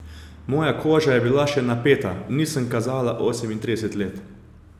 Moja koža je bila še napeta, nisem kazala osemintrideset let.